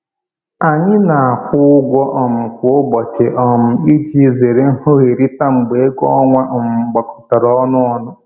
Anyị na-akwụ ụgwọ um kwa ụbọchị um iji zere nghọherita mgbe ego ọnwa um gbakọtọrọ ọnụ ọnụ